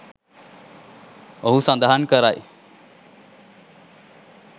ඔහු සඳහන් කරයි